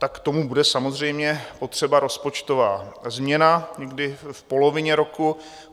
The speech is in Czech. Tak k tomu bude samozřejmě potřeba rozpočtová změna někdy v polovině roku.